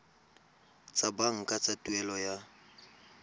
tsa banka tsa tuelo ya